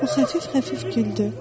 O xəfif-xəfif güldü.